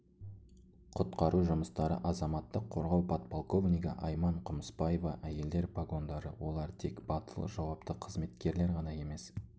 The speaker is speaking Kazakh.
құтқару жұмыстары азаматтық қорғау подполковнигі айман құмыспаева әйелдер погондары олар тек батыл жауапты қызметкерлер ғана емес